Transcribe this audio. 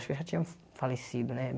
Acho que eu já tinha falecido, né?